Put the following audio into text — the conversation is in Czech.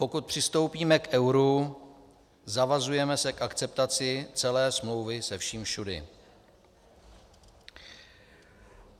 Pokud přistoupíme k euru, zavazujeme se k akceptaci celé smlouvy se vším všudy.